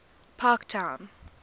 parktown